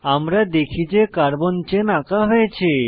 আমরা দেখি যে কার্বন চেন আঁকা হয়েছে